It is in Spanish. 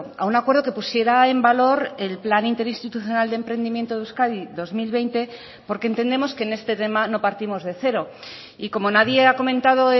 a un acuerdo que pusiera en valor el plan interinstitucional de emprendimiento de euskadi dos mil veinte porque entendemos que en este tema no partimos de cero y como nadie ha comentado